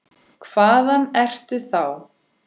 Hvaðan ertu þá?